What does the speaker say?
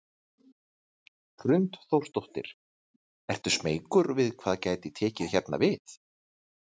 Hrund Þórsdóttir: Ertu smeykur við hvað gæti tekið hérna við?